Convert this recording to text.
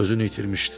Özünü itirmişdi.